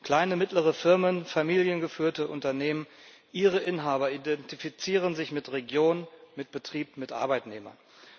Kleine mittlere Firmen, familiengeführte Unternehmen Ihre Inhaber identifizieren sich mit Regionen mit dem Betrieb, mit Arbeitnehmern.